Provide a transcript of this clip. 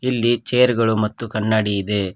ಇಲ್ಲಿ ಚೇರ್ ಗಳು ಮತ್ತು ಕನ್ನಡಿ ಇದೆ.